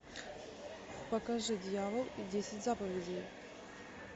покажи дьявол и десять заповедей